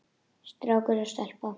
Strákur og stelpa.